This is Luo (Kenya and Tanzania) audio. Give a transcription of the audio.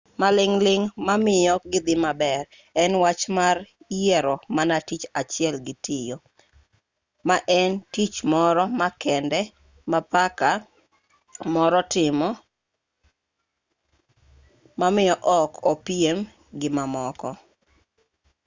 maling' ling' mamiyo gidhi maber en wach mar yiero mana tich achiel gitiyo ma en tich moro makende ma paka moro timo mamiyo ok opiem gi mamoko